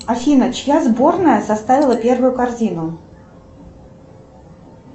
афина чья сборная составила первую корзину